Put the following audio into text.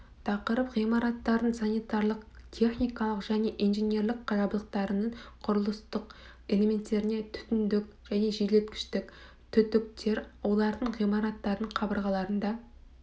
тақырып ғимараттардың санитарлық техникалық және инженерлік жабдықтарының құрылыстық элементтері түтіндік және желдеткіштік түтіктер олардың ғимараттардың қабырғаларында